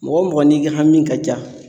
Mɔgɔ mɔgɔ n'i ka hami ka ca